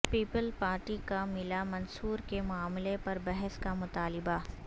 Peoples Party کا ملا منصور کے معاملے پر بحث کا مطالبہ